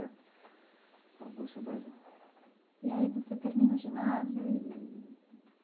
E aí você termina o ginásio eee.